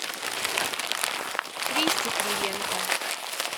кристе кривенко